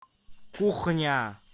кухня